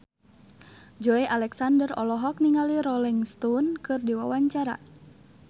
Joey Alexander olohok ningali Rolling Stone keur diwawancara